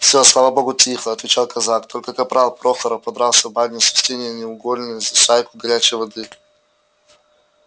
всё слава богу тихо отвечал казак только капрал прохоров подрался в бане с устиньей негулиной за шайку горячей воды